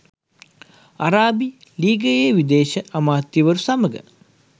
අරාබි ලීගයේ විදේශ අමාත්‍යවරු සමග